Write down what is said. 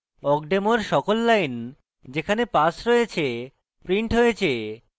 awkdemo এর সকল lines যেখানে pass রয়েছে printed হয়েছে